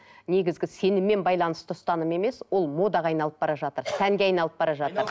негізгі сеніммен байланысты ұстаным емес ол модаға айналып бара жатыр сәнге айналып бара жатыр